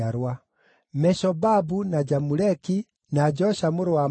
Meshobabu, na Jamuleki, na Josha mũrũ wa Amazia,